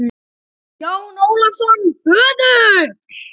JÓN ÓLAFSSON, BÖÐULL